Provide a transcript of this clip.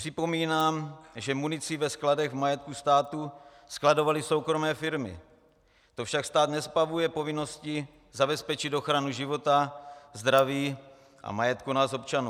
Připomínám, že munici ve skladech v majetku státu skladovaly soukromé firmy, to však stát nezbavuje povinnosti zabezpečit ochranu života, zdraví a majetku nás občanů.